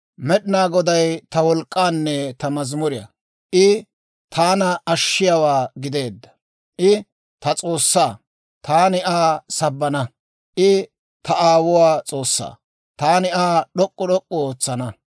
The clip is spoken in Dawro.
Med'inaa Goday ta wolk'k'aanne ta mazimuriyaa; I taana ashshiyaawaa gideedda. I ta S'oossaa; taani Aa sabbana. I ta aawuwaa S'oossaa; taani Aa d'ok'k'u d'ok'k'u ootsana.